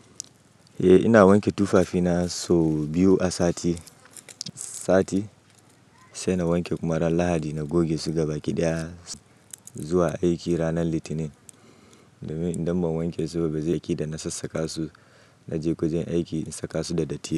Eh ina wanke tufafina sau biyu a sati, sati sai na wanke kuma ran lahadi na goge su gabaɗaya zuwa aiki ranan litinin. Idan ba in wanke su ba bazai ki da na sassaƙa su naje kujen aiki in saka su da datti.